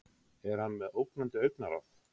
er hann með ógnandi augnaráð